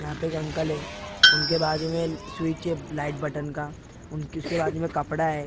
यहाँ पे एक अंकल हैं उनके बाजू में स्विच है लाइट बटन का उन उसके बाजू में कपड़ा है फि--